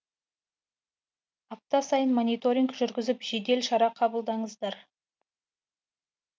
апта сайын мониторинг жүргізіп жедел шара қабылдаңыздар